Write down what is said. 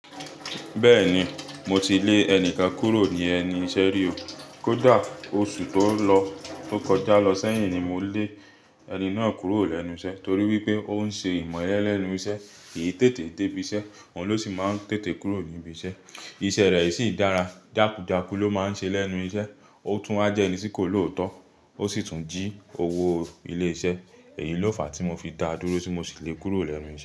Bẹ́ẹ̀ni, mo ti lé ẹnìkan kúrò ní ẹnu iṣẹ́ rí oo. Kódà oṣù tó lọ tó kọjá lọ sẹ́yìn ni mo lé ẹni náà kúrò lẹ́nu iṣẹ́ torí wípé ó ń ṣe ìmelẹ́ lẹ́nu iṣẹ́, kìí tètè dé ibi iṣẹ́, òun ló sì máa ń tètè kúrò ní ibi iṣẹ́. Iṣẹ́ rẹ̀ i sìi ń dára, jákujáku ló máa ń ṣe lẹ́nu iṣẹ́, ó tún wá jẹ́ ẹni tí kò lòótọ́, ó sì tún jí owóo ilé iṣẹ́. Èyí ló fàá tí mo fi dá dúró tí mo sì le kúrò lẹ́nu iṣ.